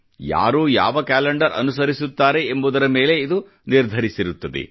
ಯಾರು ಯಾವ ಕ್ಯಾಲೆಂಡರ್ ಅನುಸರಿಸುತ್ತಾರೆ ಎಂಬುದರ ಮೇಲೆ ಇದು ನಿರ್ಧರಿಸಿರುತ್ತದೆ